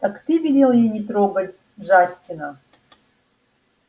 так ты велел ей не трогать джастина